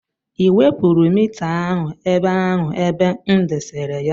Ị wepụrụ mita ahụ ebe ahụ ebe m desara ya?